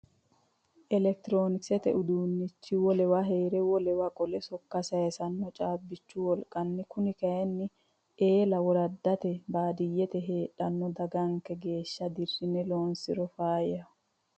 Elekitironkisete uduunichi wolewa heere wolewa qolle sokko saysano caabbichu wolqanni kone kayinni eella woraddate baadiyyete heedhano dagganke geeshsha dirine loonsiro faayyaho.